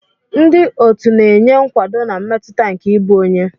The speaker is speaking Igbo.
Ndị otu na-enye nkwado na mmetụta nke ịbụ onye.